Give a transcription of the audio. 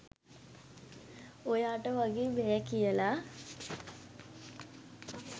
ඔයාට වගේ බෑ කියලා.